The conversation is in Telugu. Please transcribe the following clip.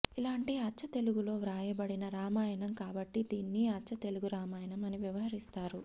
ఇలాంటి అచ్చతెలుగులో వ్రాయబడిన రామాయణం కాబట్టి దీన్ని అచ్చతెలుగు రామాయణం అని వ్యవహరిస్తారు